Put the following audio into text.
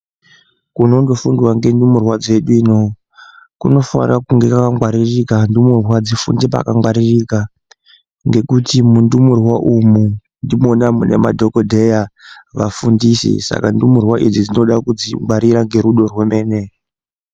Kunondofundwa ngendumurwa dzedu ino kunofanire kunge kwakangwaririka ndumurwa dzifunde pakangwaririka ngekuti mundumurwa umwu ndimwona mune madhokodheya vafundisi saka ndumurwa dzinoda kungwrirwa ngerudo rwemene.